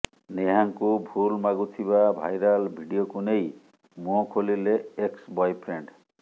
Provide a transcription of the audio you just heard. ନେହାଙ୍କୁ ଭୁଲ୍ ମାଗୁଥିବା ଭାଇରାଲ୍ ଭିଡିଓକୁ ନେଇ ମୁହଁ ଖୋଲିଲେ ଏକ୍ସ ବୟଫ୍ରେଣ୍ଡ୍